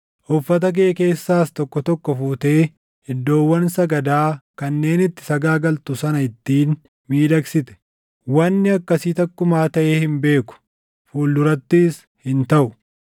Uffata kee keessaas tokko tokko fuutee iddoowwan sagadaa kanneen itti sagaagaltu sana ittiin miidhagsite. Wanni akkasii takkumaa taʼee hin beeku; fuuldurattis hin taʼu.